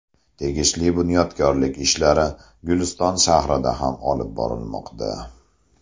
Tegishli bunyodkorlik ishlari Guliston shahrida ham olib borilmoqda.